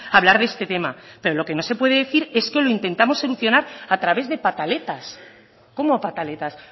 a hablar de este tema pero lo que no se puede decir es que lo intentamos solucionar a través de pataletas cómo pataletas